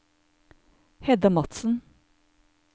Hedda Madsen